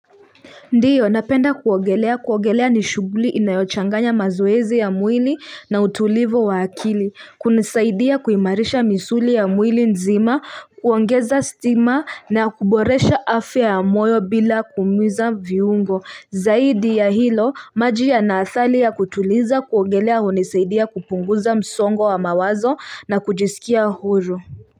Ndiyo napenda kuogelea kuogelea ni shughuli inayochanganya mazoezi ya mwili na utulivu wa akili kunisaidia kuimarisha misuli ya mwili nzima kuongeza stamina na kuboresha afya ya moyo bila kuumiza viungo zaidi ya hilo maji yana athali ya kutuliza kuogelea hunisaidia kupunguza msongo wa mawazo na kujisikia huru.